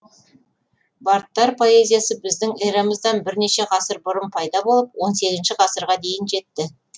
бардтар поэзиясы біздің эрамыздан бірнеше ғасыр бұрын пайда болып он сегізінші ғасырға дейін жетті